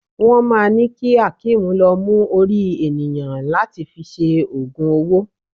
Wọ́n máà ńi ki Hakeem lọ mú orí ènìyàn láti fi ṣe ogun owó.